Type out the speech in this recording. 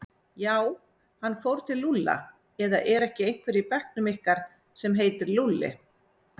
Já, hann fór til Lúlla eða er ekki einhver í bekknum ykkar sem heitir Lúlli?